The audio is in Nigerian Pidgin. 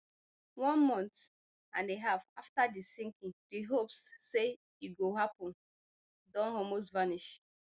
one month and a half afta di sinking di hopes say e go happun don almost vanish